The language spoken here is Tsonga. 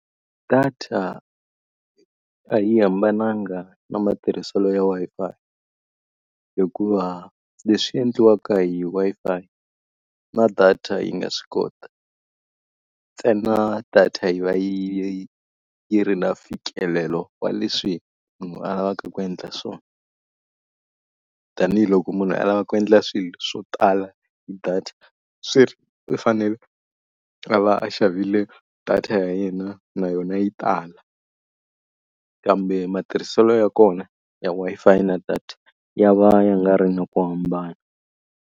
Data a yi hambananga na matirhiselo ya Wi-Fi hikuva leswi endliwaka hi Wi-Fi na data yi nga swi kota, ntsena ku data yi va yi yi ri na mfikelelo wa leswi munhu a lavaka ku endla swona. Tanihi loko munhu a lava ku endla swilo swo tala hi data swi ri fanele a va a xavile data ya yena na yona yi tala. Kambe matirhiselo ya kona ya Wi-Fi na data ya va ya nga ri na ku hambana.